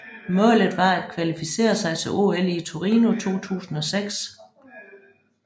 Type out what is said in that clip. Målet var at kvalificere sig til OL i Torino 2006